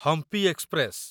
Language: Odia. ହମ୍ପି ଏକ୍ସପ୍ରେସ